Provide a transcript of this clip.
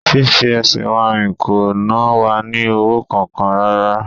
Fí fi ẹsẹ̀ wa rìn kò na wa ní owó kankan rárá